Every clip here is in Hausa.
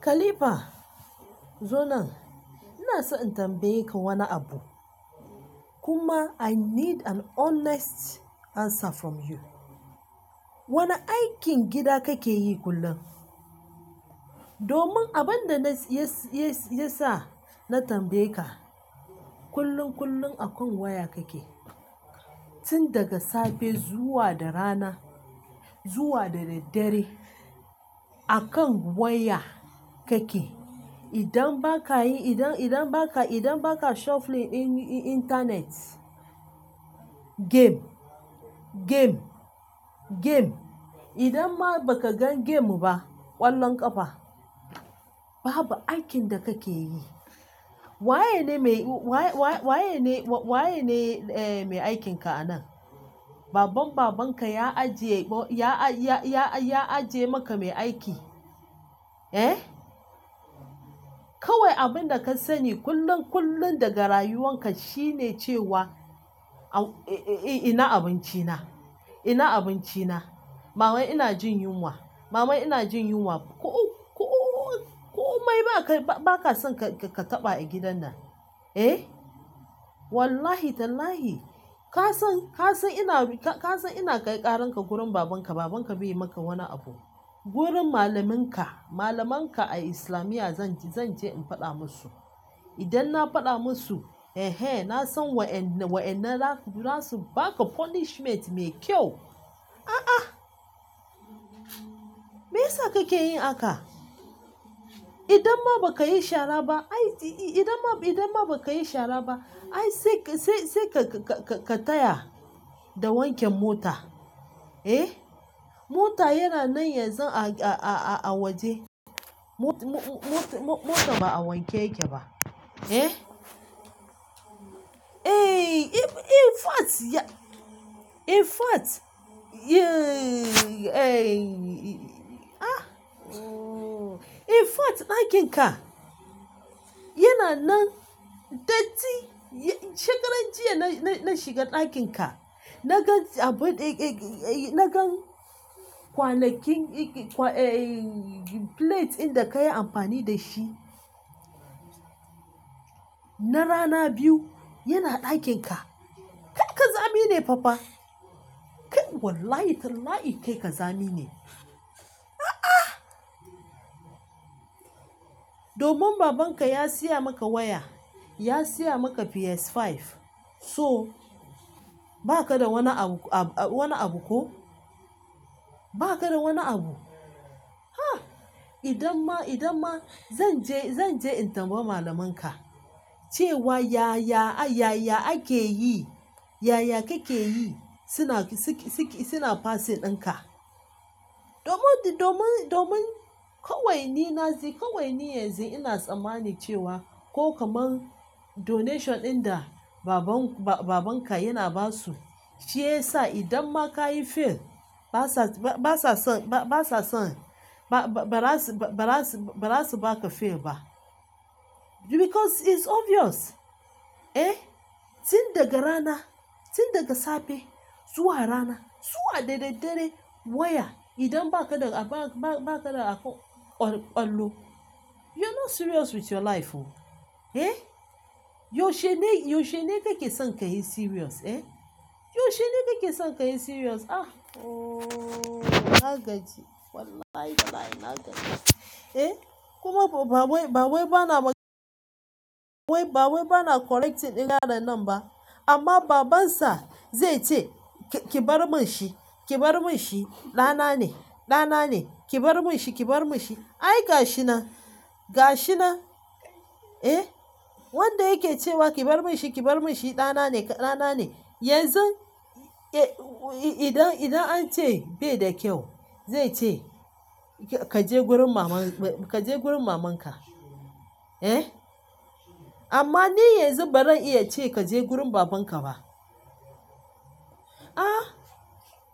Khalifa, zo nan. Ina so in tambaye ka wani abu. Kuma I need an honest answer from you. Wane aikin gida kake yi kullum? Domin abinda yasa na tambayeka kullun kullun akan waya kake. Tun daga safe zuwa da rana zuwa da daddare akan waya kake. Idan ba ka yi, idan, idan ba ka, idan ba ka shuffling in-in-internet, game, game, game. Idan ma ba ka gan game ba, ƙwallon ƙafa. Babu aikin da kake yi. Waye ne mai aikin ka anan. Baban babanka ya ajiye maka mai aiki. Kawai abin da ka sani kullum kullum daga rayuwanka shine cewa au, i-i-ina abinci na, ina abinci na. Mama ina jin yunwa, mama ina jin yunwa. Ku-ku-komai ba ka, ba ka son ka-ka-ka taba a gidan nan, eh? Wallahi tallahi ka san, ka san ina ru-, ka san ina kai ƙaran ka gurin babanka. Babanka bai yi maka wani abu. Wurin malaminka, malamanka a Islamiyya zan je, zan je in faɗa musu. Idan na faɗa musu, eh eh, na san wa'inna, wa'inna za su, za su ba ka punishment mai kyau. Aa miyasa kake yin haka, idan ma baka yi shara ba ai sai ka taya da wanke mota. Mota yana nan yanzu a-a-a-a waje. Mo-mo-mot-mo-mota ba a wanke yake ba, eh? Eh, in fact ya-- in fact, eh, ah, oh, in fact ɗakin ka yana nan. Datti shekarar jiya na-na-na shiga ɗakin ka. Na gan abin eh-eh-eh, na gan kwanakin eh plate ɗin da ka yi amfani da shi na rana biyu yana ɗakin ka. Kai ƙazami ne papa. Kai wallahi tallahi kai ƙazami ne. Ah ah. Domin babanka ya siya maka waya, ya siya maka PS5. So, ba ka da wani abu, ab-wani abu ko? Ba ka da wani abu? Ha! Idan ma, idan ma zan je, zan je in tambayi malamanka cewa yaya, yaya ake yi, yaya kake yi suna siki-siki, suna passing ɗinka. Domin, domin, domin kawai ni na ji, kawai ni yanzu ina tsammani cewa ko kamar donation ɗin da baban, ba-babanka yana ba su, shi ya sa idan ma ka yi fail ba sa, ba sa son, ba sa son ba-ba-bara su, ba-bara su, ba-bara su ba ka fail ba. Because it's obvious, eh? Tun daga rana, tun daga safe zuwa rana zuwa da daddare waya idan ba ka da abu, ba ka da abu, kwallo. You are not serious with your life oh, eh? You shene, you shene kake son ka yi serious eh? You shene kake son ka yi serious. Ah, oh nagaji wallahi tallahi nagaji, eh? Kuma ba wai, ba wai bana ba-- wai ba wai bana correcting ɗin yaron nan ba amma babansa zai ce ki bar min shi, ki bar min shi ɗana ne, ɗana ne. Ki bar min shi, ki bar min shi. Ai gashi nan, gashi nan, eh? Wanda yake cewa ki bar min shi, ki bar min shi ɗana ne, ɗana ne yanzu, eh, idan, idan an ce bai da kyau zai ce kaje wurin maman, kaje wurin mamanka, eh? Amma ni yanzu baran iya ce kaje wurin babanka ba. Ah,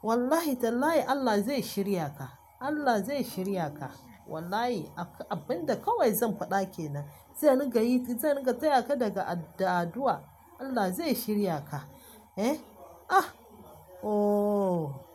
wallahi tallahi Allah zai shirya ka. Allah zai shirya ka. Wallahi ab-abinda kawai zan faɗa ke nan, zan ringa yi, zan ringa taya ka daga da aduwa. Allah zai shirya ka, eh? Ah, oh.